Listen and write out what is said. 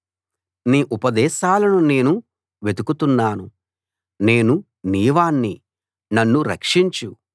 నీ ఉపదేశాలను నేను వెతుకుతున్నాను నేను నీవాణ్ణి నన్ను రక్షించు